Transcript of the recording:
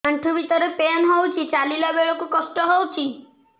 ଆଣ୍ଠୁ ଭିତରେ ପେନ୍ ହଉଚି ଚାଲିଲା ବେଳକୁ କଷ୍ଟ ହଉଚି